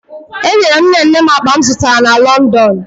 Enyere m nne nne m akpa m zụtara na Lọndọn